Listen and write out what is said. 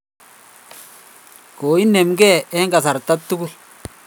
Koinemgei eng kasarta tugul